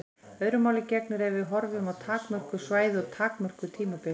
Öðru máli gegnir ef við horfum á takmörkuð svæði og takmörkuð tímabil.